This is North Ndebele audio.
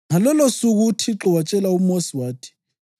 Ngalolosuku uThixo watshela uMosi wathi,